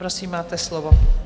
Prosím, máte slovo.